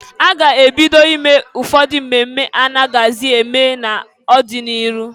A ga ebido ime ụfọdụ mmemme anaghịzị eme n'ọdị n'iru.